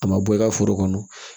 A ma bɔ i ka foro kɔnɔ